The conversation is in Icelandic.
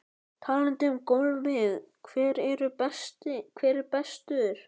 Talandi um golfið hver er bestur?